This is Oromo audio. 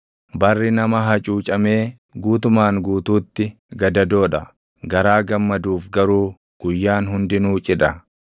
Barri nama hacuucamee guutumaan guutuutti gadadoo dha; garaa gammaduuf garuu guyyaan hundinuu cidha.